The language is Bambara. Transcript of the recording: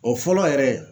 O fɔlɔ yɛrɛ